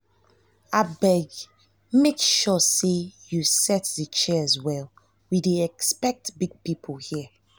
abeg make sure say you set the chairs well we dey expect big people here